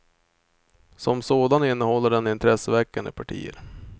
Som sådan innehåller den intresseväckande partier.